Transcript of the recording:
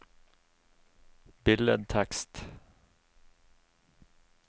billedtekst